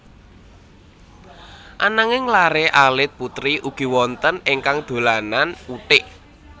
Ananging laré alit putri ugi wonten ingkang dolanan uthik